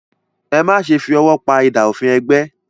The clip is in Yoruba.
Ẹ má ṣe fi ọwọ́ pa idà òfin ẹgbẹ́!